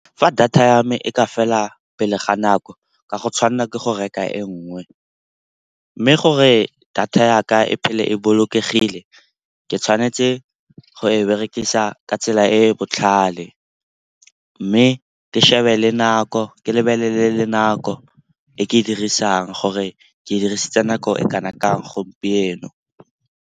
Fa data ya me e ka fela pele ga nako ka go tshwanela ke go reka e nngwe. Mme gore data yaka e phele e bolokegile, ke tshwanetse go e berekisa ka tsela e e botlhale mme ke lebelele le nako e ke e dirisang gore ke dirisitse nako e kana kang gompieno.